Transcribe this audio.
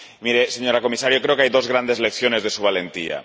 Mire, señora Comisaria, yo creo que hay dos grandes lecciones de su valentía.